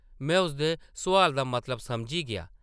में उसदे सोआला दा मतलब समझी गेआ ।